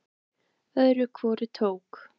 Öðru hvoru tók